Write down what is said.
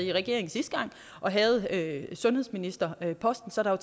i regering sidste gang og havde sundhedsministerposten så der er